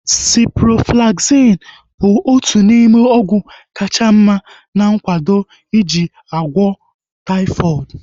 Ciproflaxin (Cipro) bụ otu n'ime ọgwụ kacha mma ana akwado eji agwọ taifọdụ